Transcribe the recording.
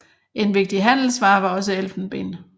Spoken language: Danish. En vigtig handelsvare var også elfenben